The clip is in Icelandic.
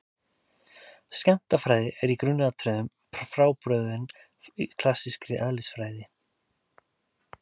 Skammtafræði er í grundvallaratriðum frábrugðin klassískri eðlisfræði.